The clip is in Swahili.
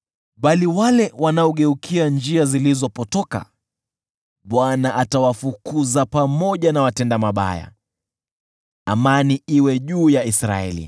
Bali wale wanaogeukia njia zilizopotoka, Bwana atawafukuza pamoja na watenda mabaya. Amani iwe juu ya Israeli.